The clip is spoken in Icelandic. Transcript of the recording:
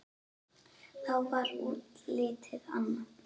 Þá var útlitið annað.